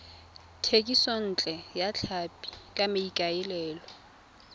thekisontle ya tlhapi ka maikaelelo